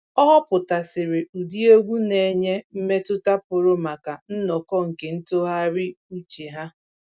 Ọ họpụtasịrị ụdị egwu na-enye mmetụta pụrụ maka nnọkọ nke ntụgharị uche ha